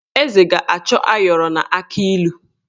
Eze ga-achọ ayọrọ na akị ilu.